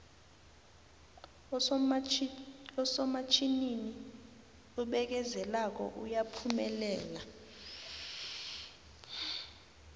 usomatjhinini obekezelako uyaphumelela